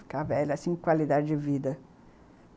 Ficar velha, assim, qualidade de vida.